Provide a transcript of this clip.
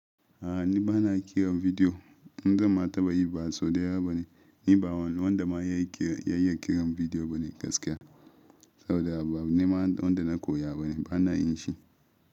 A'a ni bana kiran bidiyo. In zan ma taɓa yi ba, sau ɗaya bane. Ni ba wanda ma yayi kiran bidiyo bane gaskiya. Sau da yawa ba abu ne ma wanda na koya bane, bana yin shi.